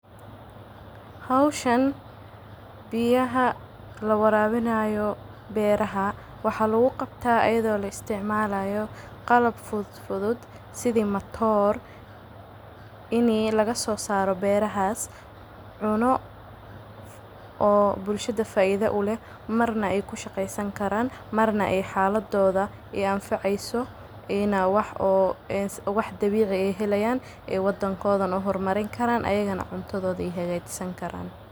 Hawshan biiyaha la warwinaayo beeraha waxaa lagu qabtaa iyadoo la isticmaalayo qalab fudfudud, sidi mattoor inay laga soo saaro beerahaas cuno oo bulshada faaiido u leh. Marna ay ku shaqaysan karaan, marna ay xaaladooda a anficayso, inaa wax oo eins wax dabiici ay helayaan ee waddankoodan u hor marin karaan, ayagan cuntadooda ay hagaajisan karaan.